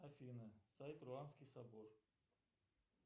афина сайт руанский собор